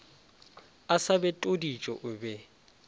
a sa betodiše o be